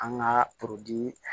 An ka